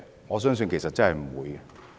我相信不會。